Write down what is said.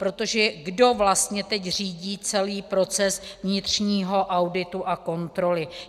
Protože kdo vlastně teď řídí celý proces vnitřního auditu a kontroly?